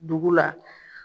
Dugu la.